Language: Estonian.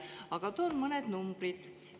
Aga toon mõned numbrid.